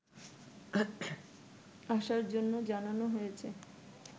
আসার জন্য জানানো হয়েছে